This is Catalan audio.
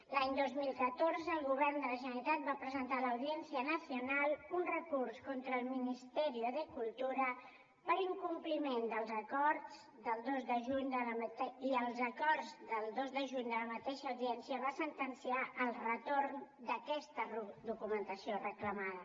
l’any dos mil catorze el govern de la generalitat va presentar a l’audiencia nacional un recurs contra el ministerio de cultura per incompliment dels acords del dos de juny i els acords del dos de juny de la mateixa audiència van sentenciar el retorn d’aquesta documentació reclamada